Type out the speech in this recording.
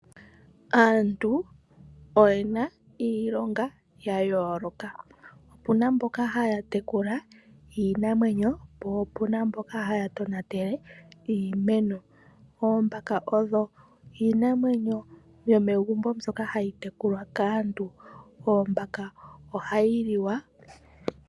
Aantu oyena iilonga ya yooloka opuna mboka haya tekula iinamwenyo po opuna mboka haa tonatele iimeno, oombaka odho iinamwenyo mbyoka yomegumbo hayi tekulwa kaantu ,ombaka ohayi liwa.